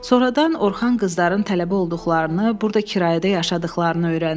Sonradan Orxan qızların tələbə olduqlarını, burda kirayədə yaşadıqlarını öyrəndi.